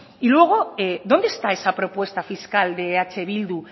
y luego dónde está esa propuesta fiscal de eh bildu